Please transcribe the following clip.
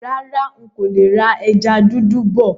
Rárá, ń kò lè rà ẹja dúdú bọ̀.